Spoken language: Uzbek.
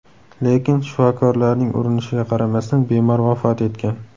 Lekin shifokorlarning urinishiga qaramasdan bemor vafot etgan.